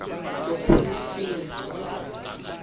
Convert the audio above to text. lophuhliso